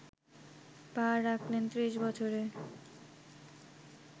পা রাখলেন ত্রিশ বছরে